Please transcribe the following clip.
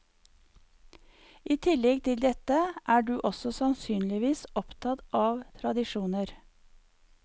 I tillegg til dette er du også sannsynligvis opptatt av tradisjoner.